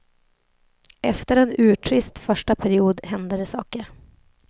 Efter en urtrist första period hände det saker.